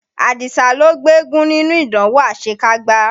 Àdìsá ló gbégún nínú ìdánwò àṣekágbá.